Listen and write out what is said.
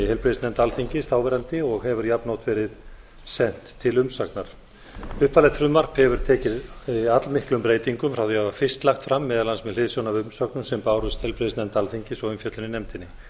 heilbrigðisnefnd alþingis þáverandi og hefur jafnoft verið sent til umsagnar upphaflegt frumvarp hefur tekið allmiklum breytingum frá því það var fyrst lagt fram meðal annars með hliðsjón af umsögnum sem bárust heilbrigðisnefnd alþingis og umfjöllun í nefndinni